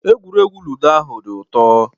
Egwuregwu ludo ahu dị ụtọ